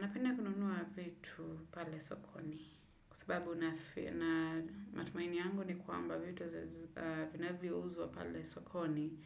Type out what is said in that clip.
Napenda kununua vitu pale sokoni kwa sababu matumaini yangu ni kwamba vitu vinavyouzwa pale sokoni